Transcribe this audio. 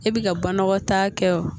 E bi ka banakɔtaa kɛ o